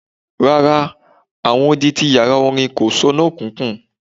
Rara, awọn odi ti yara orin ko so no kíkùn